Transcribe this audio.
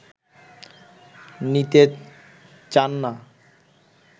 নিতে চান না